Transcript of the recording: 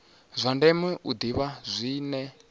zwa ndeme u ḓivha zwine